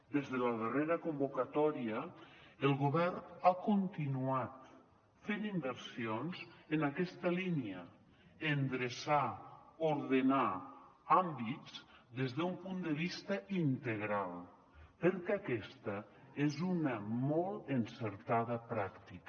des de la darrera convocatòria el govern ha continuat fent inversions en aquesta línia endreçar ordenar àmbits des d’un punt de vista integral perquè aquesta és una molt encertada pràctica